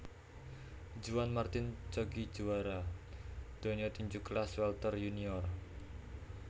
Juan Martin Coggi juwara donya tinju kelas welter yunior